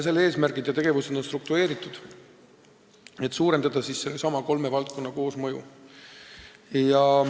Selle eesmärgid ja tegevused on struktureeritud, et suurendada nendesama kolme valdkonna koosmõju.